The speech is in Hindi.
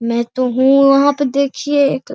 मै तो हूं वहाँ पे देखिए --